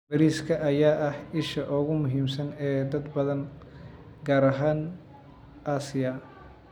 Bariiska ayaa ah isha ugu muhiimsan ee dad badan, gaar ahaan Aasiya.